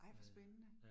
Ej, hvor spændende